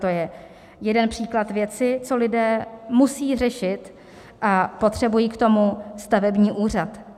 To je jeden příklad věci, co lidé musejí řešit, a potřebují k tomu stavební úřad.